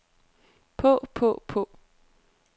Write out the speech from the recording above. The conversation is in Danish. på på på